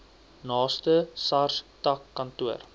naaste sars takkantoor